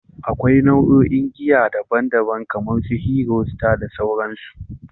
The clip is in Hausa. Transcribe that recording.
Akwai nau'o'in giya daban-daban kamar su Hero, Star, da sauransu.